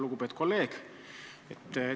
Lugupeetud kolleeg!